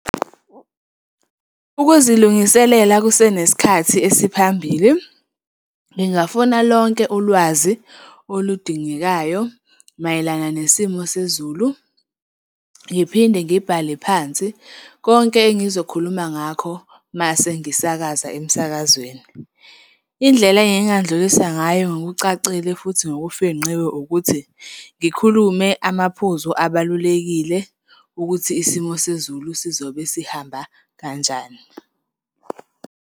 Ukuzilungiselela kusenesikhathi esiphambili, ngingafuna lonke ulwazi oludingekayo mayelana nesimo sezulu, ngiphinde ngibhale phansi konke engizokhuluma ngakho uma sengisakaza emsakazweni. Indlela engingandlulisa ngayo ngokucacile futhi ngokufingqiwe, ukuthi ngikhulume amaphuzu abalulekile ukuthi isimo sezulu sizobe sihamba kanjani.